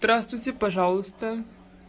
здравствуйте пожалуйста